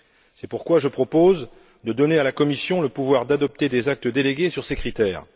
C'est pourquoi je propose de donner à la Commission le pouvoir d'adopter des actes délégués sur ces critères.